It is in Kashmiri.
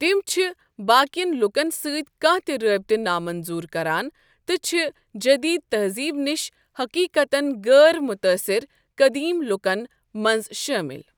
تِم چھِ باقِین لوٗکن سٕتۍ كانٛہہ تہِ رٲبطہٕ نامنظوٗر کران تہٕ چھ جٔدیٖد تہزیٖب نِش حٔقیٖقتَن غٲر متٲثِر قٔدیٖم لوٗکن منٛز شٲمِل ۔